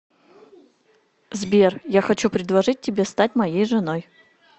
сбер я хочу предложить тебе стать моей женой